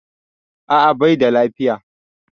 A'a baida lafiya